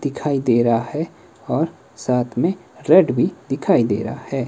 दिखाई दे रहा है और साथ में फ्लैट भी दिखाई दे रहा है।